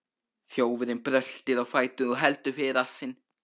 Þjófurinn bröltir á fætur og heldur fyrir rassinn.